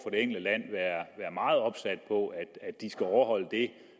enkelte land være meget opsat på at de skal overholde det